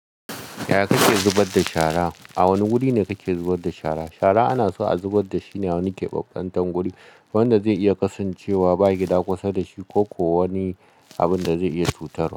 Yaya kake zubar da shara? A wane guri ne kake zubar da shara? Shara ana so a zubar da shi ne a wani keɓaɓɓantan guri wanda zai iya kasancewa ba gida kusa da shi ko ko wani abunda zai iya cutarwa.